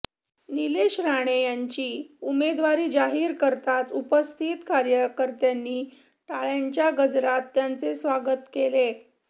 निलेश राणे यांची उमेदवारी जाहीर करताच उपस्थित कार्यकर्त्यांनी टाळ्यांच्या गजरात त्यांचे स्वागत केले